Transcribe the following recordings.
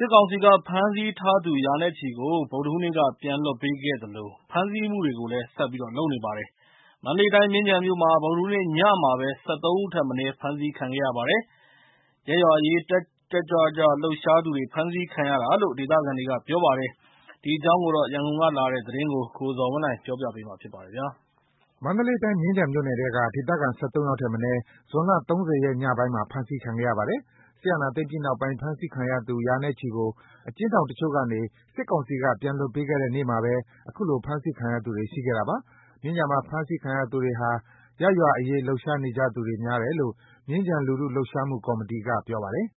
စ်ကောင်စီက ဖမ်းဆီးထားသူ ရာနဲ့ချီကို ဗုဒ္ဓဟူးနေ့က ပြန်လွှတ်ပေးခဲ့သလို ဖမ်းဆီးမှုတွေကိုလည်း ဆက်လုပ်နေပါတယ်။ မန္တလေးတိုင်း မြင်းခြံမြို့မှာ ဗုဒ္ဓဟူးနေ့ညမှာပဲ ၁၃ ဦးထက်မနည်း ဖမ်းဆီးခံရပါတယ်။ ရပ်ရွာအရေး တက်တက်ကြွကြွလုပ်သူတွေ ဖမ်းဆီးခံရတာလို့ ဒေသခံတွေက ပြောပါတယ်။ ဒီအကြောင်း ရန်ကုန်ကလာတဲ့သတင်းကို ကိုဇော်ဝင်းလှိုင်က ပြောပြပေးပါမယ်။ မန္တလေးတိုင်း မြင်းခြံမြို့နယ်ထဲက ဒေသခံ ၁၃ ယောက်ထက်မနည်း ဇွန် ၃၀ ရက်ညပိုင်းမှာ ဖမ်းဆီးခံခဲ့ရပါတယ်။ စစ်အာဏာသိမ်းပြီးနောက် ဖမ်းဆီးခံခဲ့ရသူ ရာနဲ့ချီကို အကျဉ်းထောင်တချို့ကနေ စစ်ကောင်စီက ပြန်လွှတ်ပေးခဲ့တဲ့ နေ့မှာပဲ ခုလို ထပ်မံဖမ်းဆီးခံရသူတွေ ရှိခဲ့တာပါ။ မြင်းခြံမှာ ဖမ်းဆီးခံရသူတွေဟာ ရပ်ရွာအရေးလုပ်ကြသူတွေများတယ်လို့ မြင်းခြံလူထု လှုပ်ရှားမှုကော်မတီက ပြောပါတယ်။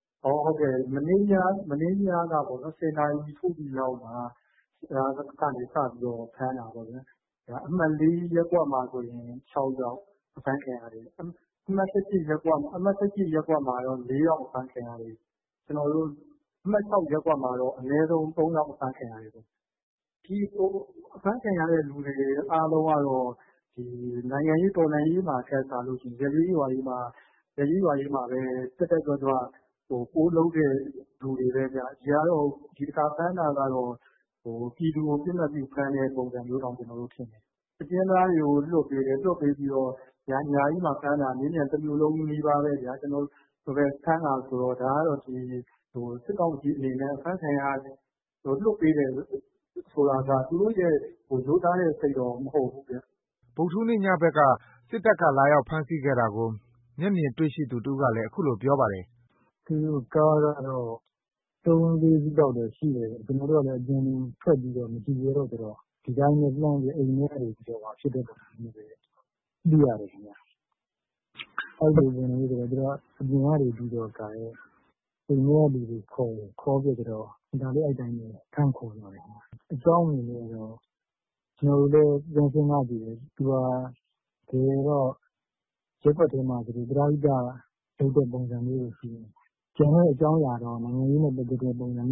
“မနေ့ညမှာ ၁၀ နာရီထိုးပြီးလောက်မှာ စပြီးဖမ်းတာပေါ့။ အမှတ် ၄ ရပ်ကွက်မှာဆို ၆ ယောက် အဖမ်းခံရတယ်။ အမှတ် ၁၈ ရပ်ကွက်မှာ ၄ ယောက် အဖမ်းခံရတယ်။ ကျွန်တော်တို့ အမှတ် ၆ ရက်ကွက်မှာတော့ အနည်းဆုံး ၃ ယောက် အဖမ်းခံရတယ်။ အဖမ်းခံရတဲ့သူတွေ အားလုံးကတော့ နိုင်ငံရေး တော်လှန်ရေးမှာထက်စာလို့ရှိရင် ရပ်ရေးရွာရေးမှာပဲ တက်တက်ကြွကြွ ပိုလုပ်တဲ့သူတွေပဲဗျ ဒီတခါဖမ်းတာကတော့ ပြည်သူကို ပစ်မှတ်ပြု ဖမ်းတဲ့ ပုံစံမျိုးတောင်ထင်တယ်။ အကျဉ်းသားတွေကို လွှတ်ပေးတယ်။ ညကြီးမှာ တမြို့လုံးနီးပါး ဖမ်းတယ်ဆိုတော့ သူတို့ရဲ့ ရိုးသားတဲ့ စိတ်တော့ မဟုတ်ဘူးခင်ဗျ။” ဗုဒ္ဓဟူးနေ့ ညဖက်က စစ်တပ်ကလာရောက်ဖမ်းဆီးခဲ့တာကို မျက်မြင်တွေ့ရှိသူ တဦးကလည်း အခုလိုပြောပါတယ်။ “သူတို့ကားက ၃ ၊၄ စီးလောက်တော့ရှိတယ်။ ကျွန်တော်တို့ကလည်း အပြင်ကိုထွက်ပီးမကြည့်ရဲတော့ ဒီတိုင်းပဲ အိမ်ထဲကနေကြည့်ရတယ်။ သူတို့က အပြင်ကနေပြီး အိမ်ထဲကလူတွေကို ခေါ်တယ်။ ခေါ်ပြီး အသာလေး ဖမ်းခေါ်သွားတယ်။ အကြောင်းအနေနဲ့ကတော့ ကျွန်တော်တို့လည်း ပြန်စဉ်းစားကြည့်တယ်။ သူဟာ တကယ်တော့ ရပ်ကွက်ထဲမှာ ပရဟိတ လုပ်တဲ့ပုံစံမျိုးပဲရှိတယ်။ ကျန်တဲ့ နိုင်ငံရေးနဲ့ ပတ်သက်တဲ့ အကြောင်းအရာ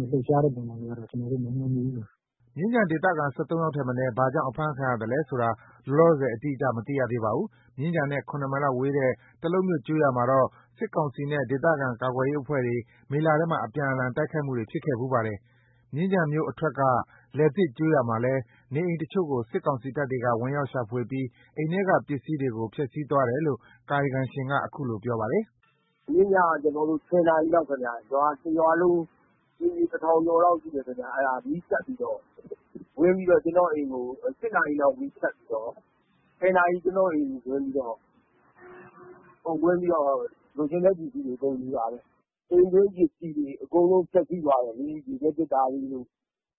ပုံစံမျိုးတော့ မမြင်မိဘူး။” မြင်းခြံဒေသခံ ၁၃ ယောက်ထက်မနည်း ဘာကြောင့် အဖမ်းခံရသလဲဆိုတာ လောလောဆယ် အတိအကျ မသိရသေးပါဘူး။ မြင်းခြံနဲ့ ၇ မိုင်လောက်ဝေးတဲ့ တလုပ်မြို့ ကျေးရွာမှာတော့ စစ်ကောင်စီနဲ့ ဒေသခံကာကွယ်ရေးအဖွဲ့တွေ မေလထဲမှာ အပြန်အလှန်တိုက်ခိုက်မှုတွေ ဖြစ်ခဲ့ဖူးပါတယ်။ မြင်းခြံမြို့အထွက် က လယ်သစ်ကျေးရွာမှာလည်း နေအိမ် တချို့ကို စစ်ကောင်စီတပ်တွေက ဝင်ရောက် ရှာဖွေပြီး အိမ်ထဲက ပစ္စည်းတွေကို ဖျက်စီးသွားတယ်လို့ ကာယံကံရှင်က အခုလိုပြောပါတယ်။ “မနေ့ညက ၁၀ နာရီလောက်ခင်ဗျ။ အိမ်ခြေ ၁ ထောင်ကျော်လောက်ရှိတယ်။ အကုန်မီးဖြတ်ပြီးတော့ ဝင်ပြီးတော့ ကျွန်တော့်အိမ်ကို ၈ နာရီလောက် မီးသတ်ပြီးတော့ ၁၀ နာရီ ကျွန်တော့်အိမ်ဝင်ပြီးတော့ လိုချင်တဲ့ ပစ္စည်းတွေ အကုန်ယူတာပဲ။ အိမ်တွင်းပစ္စည်းတွေ အကုန်ဖျက်ဆီးသွားတယ်လေ။ ရေခဲသေတ္တာတွေတို့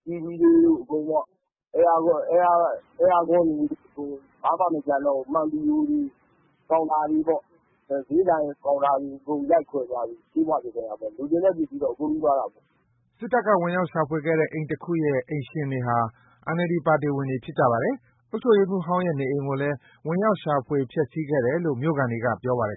TV တွေတို့ အဲယားကွန်းတွေအကုန် ဘာမှမကျန်တော့ဘူး။ မှန်ဘီဒိုတွေ ကောင်တာတွေ ဈေးဆိုင်ကောင်တာတွေ အကုန်ဖျက်ဆီးပြီး လိုချင်တဲ့ပစ္စည်းတွေ အကုန်ယူသွားတယ်။” စစ်တပ်က ဝင်ရောက်ရှာဖွေခဲ့တဲ့ အိမ်တခုရဲ့ အိမ်ရှင်တွေဟာ NLD ပါတီဝင်တွေဖြစ်ကြပါတယ်။ အုပ်ချုပ်ရေးမှူးဟောင်းရဲ့ နေအိမ်ကိုလည်း ဝင်ရောက်ရှာဖွေ ဖျက်စီးလုပ်ခဲ့တယ်လို့ မြို့ခံတွေက ပြောပါတယ်